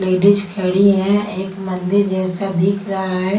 Ladies खड़ी हैं एक मंदिर जैसा दिख रहा है।